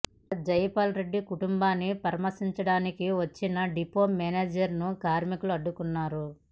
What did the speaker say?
ఇక జైపాల్ రెడ్డి కుటుంబాన్ని పరామర్శించడానికి వచ్చిన డిపో మేనేజర్ ను కార్మికులు అడ్డుకున్నారు